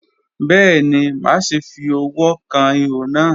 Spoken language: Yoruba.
Bẹẹni, maṣe fi ọwọ kan iho naa.